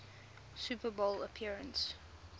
super bowl appearance